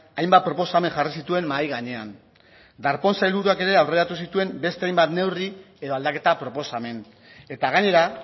hainbat proposamen jarri zituen mahai gainean darpón sailburuak ere aurreratu zituen beste hainbat neurri edo aldaketa proposamen eta gainera